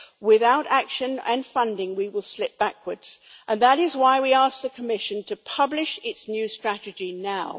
Without action and funding we will slip backwards, and that is why we ask the Commission to publish its new strategy now.